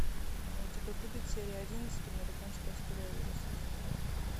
а у тебя будет серия одиннадцать американская история ужасов